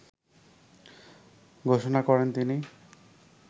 ঘোষণা করেন তিনি।